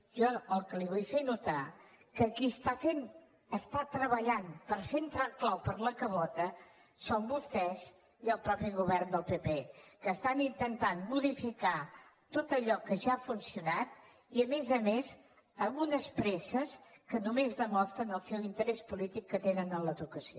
jo el que li vull fer notar que qui treballa per fer entrar el clau per la cabota són vostès i el mateix govern del pp que intenten modificar tot allò que ja ha funcionat i a més a més amb unes presses que només demostren el seu interès polític que tenen en l’educació